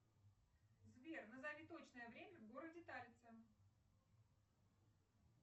сбер назови точное время в городе талица